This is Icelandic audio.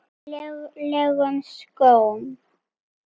lélegum skólum.